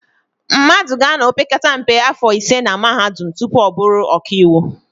Mmadụ ga-anọ opekata mpe áfọ̀ ise na Mahadum tupu ọ bụrụ ọkaiwu.